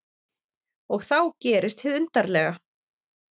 Og þá gerist hið undarlega.